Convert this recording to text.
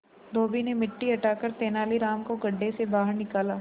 धोबी ने मिट्टी हटाकर तेनालीराम को गड्ढे से बाहर निकाला